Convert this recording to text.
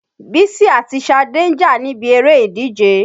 Bísí àti Ṣadé ń jà níbi eré ìdíje.